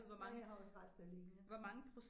Ja jeg har også rester lige nu så